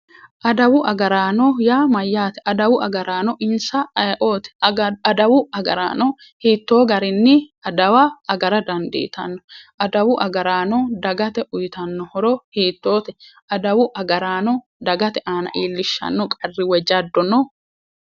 Adawu agaraano yaa mayyaate? adawu agaraano insa ayeeooti? Adawu agaraano hittoo garinni adawa agara dandiitanno? adawu agaraano dagate uuyitanno owaante hiittoote adawu agaraano dagate iillishshanno jaddo woy qarri no?